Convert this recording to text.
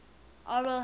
oral hygiene